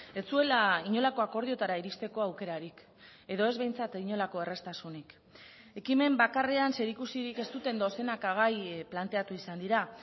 ez zuela inolako akordioetara iristeko aukerarik edo ez behintzat inolako erraztasunik ekimen bakarrean zerikusirik ez duten dozenaka gai planteatu izan dira